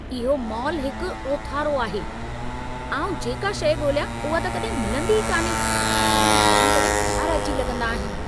इहो मॉलु हिकु ओथारो आहे। आउं जेका शइ ॻोल्हियां, उहा त कॾहिं मिलंदी ई कान्हे। मूंखे तंहिंकरे खार अची लॻंदा आहिनि।